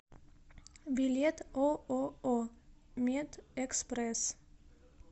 билет ооо медэкспресс